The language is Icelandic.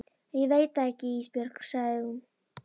Æ ég veit það ekki Ísbjörg, segir hún.